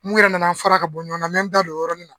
Mun yɛrɛ nan'an fara ka bɔ ɲɔgɔnna n me da don o yɔrɔni na